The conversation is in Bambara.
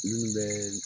Minnu bɛ